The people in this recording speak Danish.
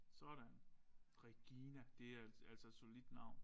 Sådan Regina det er altså et solidt navn